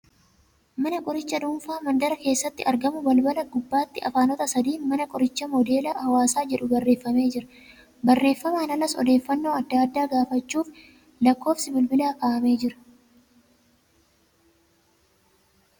Mana qorichaa dhuunfaa mandara keessatti argamu balbala gubbaatti Afaanota sadiin ' Mana Qorichaa Moodeela Hawaasaa ' jedhu barreeffamee jira. Barreefamaan alas odeeffannoo adda addaa gaafachuuf lakkoofsi bilbilaa kaa'amee jira .